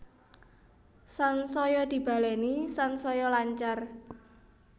Sansaya dibaleni sansaya lancar